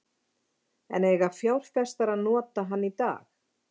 En eiga fjárfestar að nota hann í dag?